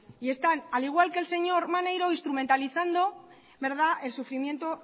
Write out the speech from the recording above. y están al igual que el señor maneiro instrumentalizando el sufrimiento